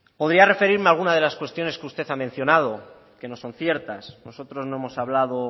podría referirme a algunas de las cuestiones que usted ha mencionado que no son ciertas nosotros no hemos hablado